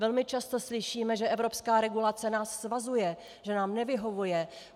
Velmi často slyšíme, že evropská regulace nás svazuje, že nám nevyhovuje.